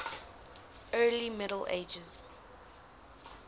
early middle ages